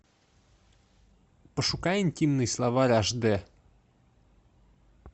пошукай интимный словарь аш дэ